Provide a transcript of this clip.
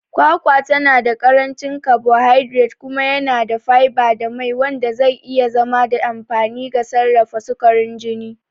Kwakwa tana da ƙarancin carbohydrates kuma yana da fiber da mai, wanda zai iya zama da amfani ga sarrafa sukarin jini.